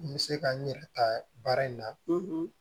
N bɛ se ka n yɛrɛ ta baara in na